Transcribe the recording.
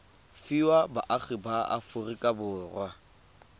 fiwa baagi ba aforika borwa